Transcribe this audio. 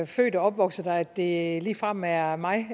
født og opvokset der at det ligefrem er mig